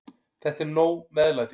Þetta er nóg meðlæti.